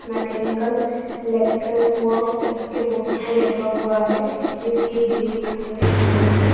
Mechanical electric work इस के board पर लिखा हुआ है इसके गेट खुले हुए हैं।